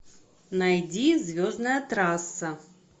найди звездная трасса